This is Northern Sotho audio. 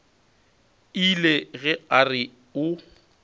ile ge a re o